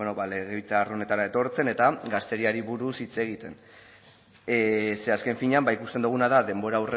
legebiltzar honetara etortzen eta gazteriari buruz hitz egiten ze azken finean ikusten doguna da denbora